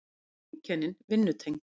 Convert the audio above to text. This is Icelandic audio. Öll eru einkennin vinnutengd.